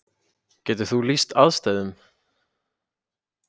Getur þú lýst aðstæðum?